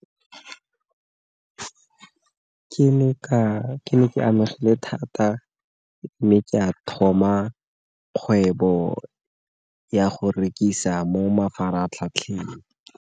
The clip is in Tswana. Ke ne ke amegile thata, mme ke a thoma kgwebo ya go rekisa mo mafaratlhatlheng.